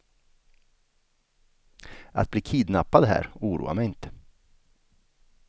Att bli kidnappad här oroar mig inte.